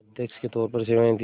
अध्यक्ष के तौर पर सेवाएं दीं